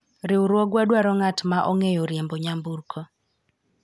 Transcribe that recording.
riwruogwa dwaro ng'at ma ong'eyo riembo nyamburko